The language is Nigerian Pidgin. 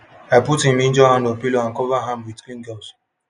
i put him injured hand on pillow and cover am with clean gauze